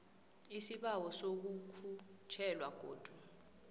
isibawo sokukhutjhelwa godu